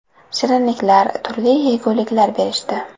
Shirinliklar, turli yeguliklar berishdi.